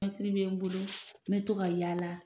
Mɛtiri bɛ n bolo n bɛ to ka yaala